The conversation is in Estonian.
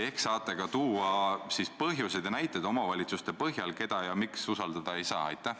Ehk saate ka tuua põhjuseid ja näiteid omavalitsuste kohta, keda ja miks usaldada ei saa?